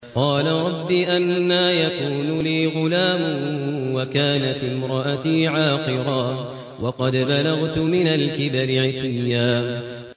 قَالَ رَبِّ أَنَّىٰ يَكُونُ لِي غُلَامٌ وَكَانَتِ امْرَأَتِي عَاقِرًا وَقَدْ بَلَغْتُ مِنَ الْكِبَرِ عِتِيًّا